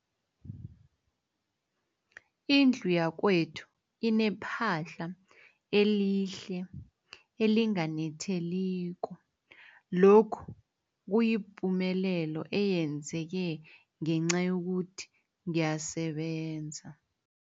Indlu yakwethu inephahla elihle, elinganetheliko, lokhu kuyipumelelo eyenzeke ngenca yokuthi ngiyasebenza.